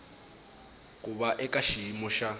ku va eka xiyimo xa